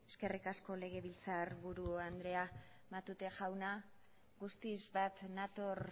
eskerrik asko legebiltzarburu andrea matute jauna guztiz bat nator